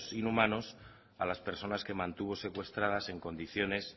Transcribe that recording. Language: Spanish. inhumanos a las personas que mantuvo secuestrada en condiciones